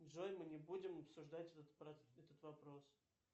джой мы не будем обсуждать этот вопрос